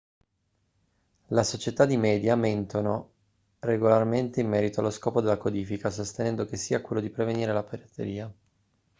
le società di media mentono regolarmente in merito allo scopo della codifica sostenendo che sia quello di prevenire la pirateria